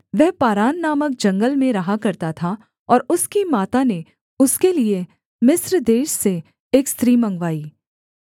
वह पारान नामक जंगल में रहा करता था और उसकी माता ने उसके लिये मिस्र देश से एक स्त्री मँगवाई